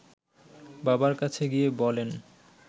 বাবার কাছে গিয়ে বলেন